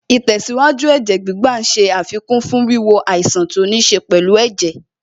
Ìtẹ̀síwájú Ẹ̀jẹ̀ gbígbà ṣe àfikún fún wíwo àìsàn tó níṣe pẹ̀lú ẹ̀jẹ̀